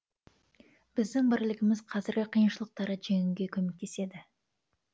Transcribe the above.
біздің бірлігіміз қазіргі қиыншылықтарды жеңуге көмектеседі